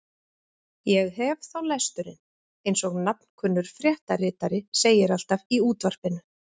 Ég hef þá lesturinn eins og nafnkunnur fréttaritari segir alltaf í útvarpinu.